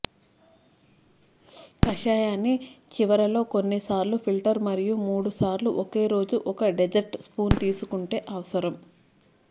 కషాయాన్ని చివరలో కొన్ని సార్లు ఫిల్టర్ మరియు మూడు సార్లు ఒక రోజు ఒక డెజర్ట్ స్పూన్ తీసుకుంటే అవసరం